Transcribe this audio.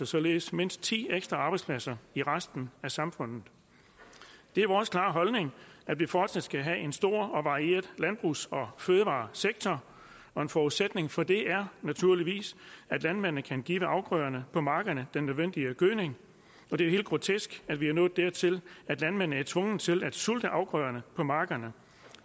således mindst ti ekstra arbejdspladser i resten af samfundet det er vores klare holdning at vi fortsat skal have en stor og varieret landbrugs og fødevaresektor og en forudsætning for det er naturligvis at landmændene kan give afgrøderne på markerne den nødvendige gødning det er helt grotesk at vi er nået dertil at landmændene er tvunget til at sulte afgrøderne på markerne